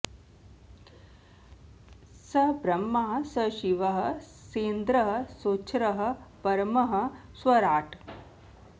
स ब्रह्मा स शिवः सेन्द्रः सोक्षरः परमः स्वराट्